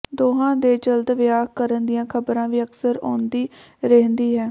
ਦੋਹਾਂ ਦੇ ਜਲਦ ਵਿਆਹ ਕਰਨ ਦੀਆਂ ਖਬਰਾਂ ਵੀ ਅਕਸਰ ਆਉਂਦੀ ਰਹਿੰਦੀ ਹੈ